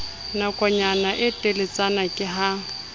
nakonyana e teletsana ke ha